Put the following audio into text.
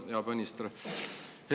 Hea peaminister!